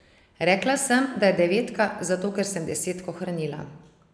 Rekla sem, da je devetka, zato ker sem desetko hranila.